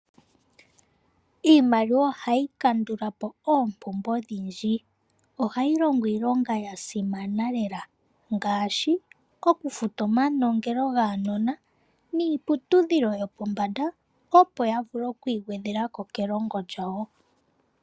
Iimaliwa ohayi kandula po oompumbwe odhindji ,ohayi longo iilonga yasimana lela ngaashi okufuta omanongelo gaanona niiputudhilo yopombanda opo yavule okwigwedhela ko keiilongo lyawo.